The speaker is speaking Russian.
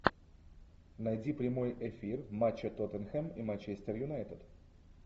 найди прямой эфир матча тоттенхэм и манчестер юнайтед